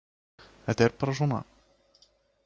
Þetta er bara svona.